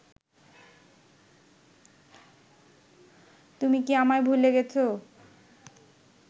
তুমি কি আমায় ভুলে গেছো